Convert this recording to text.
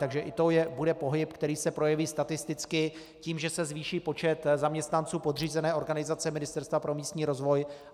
Takže i to bude pohyb, který se projeví statisticky tím, že se zvýší počet zaměstnanců podřízené organizace Ministerstva pro místní rozvoj.